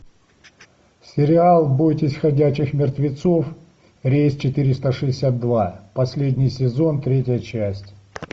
сериал бойтесь ходячих мертвецов рейс четыреста шестьдесят два последний сезон третья часть